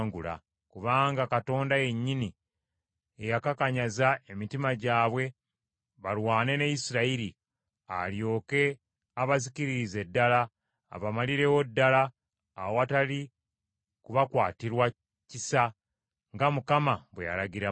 kubanga Mukama yennyini ye yakakanyaza emitima gyabwe balwane ne Isirayiri, alyoke abazikiririze ddala, abamalirewo ddala awatali kubakwatirwa kisa, nga Mukama bwe yalagira Musa.